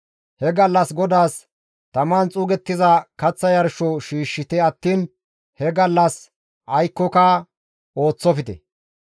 He gallas GODAAS taman xuugettiza kaththa yarsho shiishshite attiin he gallas aykkoka ooththofte.»